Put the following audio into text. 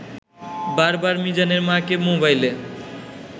বারবার মিজানের মাকে মোবাইলে